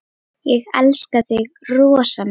Ég elska þig rosa mikið.